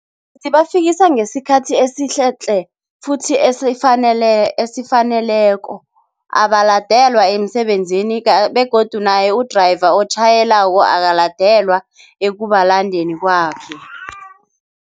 Zibafikisa ngesikhathi esihle tle, futhi esifanele esifaneleko abalandelwa emsebenzini begodu naye u-driver otjhayelako akaladelwa ekubalandeni kwabo.